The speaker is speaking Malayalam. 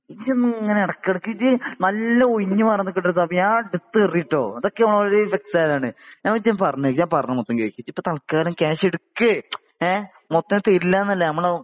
ഇജ്ജ് എന്താ ഇങ്ങനെ ഇടയ്ക്കിടയ്ക്ക് ഇജ്ജ് നല്ല ഒയിഞ്ഞു മാറാൻ നികുന്നുണ്ട് ഷാഫി ഞാൻ എടുത്തെറിയും ട്ടൊ ? ഞാൻ ആദ്യം പറയാം ഞാൻ പറയുന്നെ മൊത്തം കേൾക്ക് ഇയയ് ഇപ്പോ എന്തായാലും കാഷ് എടുക്ക് ഏ മൊത്തം തരില്ല എന്നല്ല